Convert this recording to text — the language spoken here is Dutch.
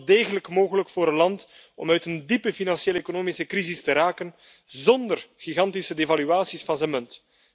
Het is wel degelijk mogelijk voor een land om uit een diepe financiële, economische crisis te raken zonder gigantische devaluaties van zijn munt.